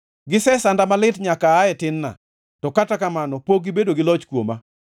“gisesanda malit nyaka aa e tin-na, to kata kamano pok gibedo gi loch kuoma.